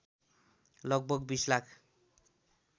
लगभग २० लाख